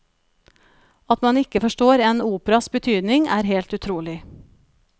At man ikke forstår en operas betydning er helt utrolig.